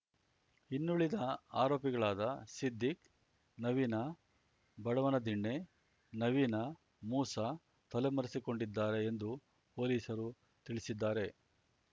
ಇನ್ನುಳಿದ ಆರೋಪಿಗಳಾದ ಸಿದ್ದೀಕ್‌ ನವೀನ ಬಡವನದಿಣ್ಣೆ ನವೀನ ಮೂಸ ತಲೆ ಮರೆಸಿಕೊಂಡಿದ್ದಾರೆ ಎಂದು ಪೊಲೀಸರು ತಿಳಿಸಿದ್ದಾರೆ